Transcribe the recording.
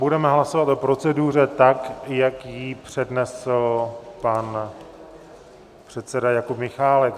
Budeme hlasovat o proceduře tak, jak ji přednesl pan předseda Jakub Michálek.